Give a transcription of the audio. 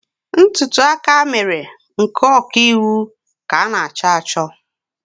Ntùtù akamèrè nke ọ̀kiīwū ka an'acho acho.